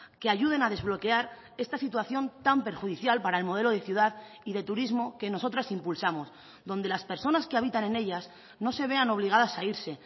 que ayuden a desbloquear esta situación tan perjudicial para el modelo de ciudad y de turismo que nosotras impulsamos donde las personas que habitan en ellas no se vean obligadas a irse